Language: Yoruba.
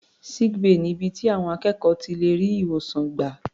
Sick bay ni ibi tí àwọn akẹ́kọ̀ọ́ ti lè rí ìwòsàn gbà.